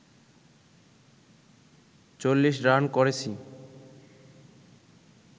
৪০ run করেছি